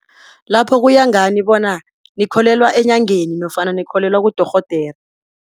Lapho kuya ngani bona nikholelwa enyangeni nofana nikholelwa kudorhodere.